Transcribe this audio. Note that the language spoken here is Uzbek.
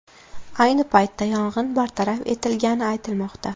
Ayni paytda yong‘in bartaraf etilgani aytilmoqda.